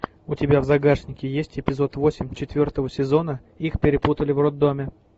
у тебя в загашнике есть эпизод восемь четвертого сезона их перепутали в роддоме